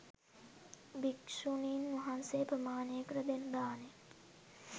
භික්ෂුණීන් වහන්සේ ප්‍රමාණයකට දෙන දානය